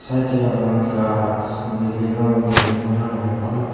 te yet hi agon gaj building gor building gorano